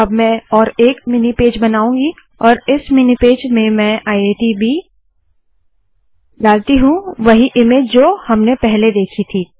अब मैं और एक मिनी पेज बनाउंगी और इस मिनी पेज में मैं आईआईटीबी डालती हूँ वही इमेज जो हमने पहले देखी थी